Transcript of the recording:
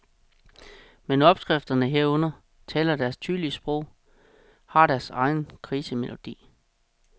Men opskrifterne herunder taler deres tydelige sprog, har deres egen krisemelodi.